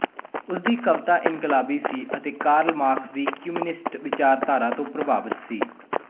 ਉਸਦੀ ਕਵਿਤਾ ਇਨਕਲਾਬੀ ਸੀ ਅਤੇ ਕਾਰਲ ਮਾਰਕਸ ਦੀ ਕਮਿਊਨਿਸਟ ਵਿਚਾਰਧਾਰਾ ਤੋਂ ਪ੍ਰਭਾਵਿਤ ਸੀ